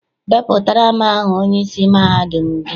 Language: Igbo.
Depụtara m aha onyeisi mahadum gị!